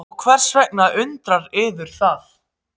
Og hvers vegna undrar yður það?